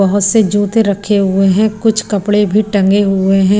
बहोत से जूते रखे हुए हैं कुछ कपड़े भी टंगे हुए हैं।